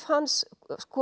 hans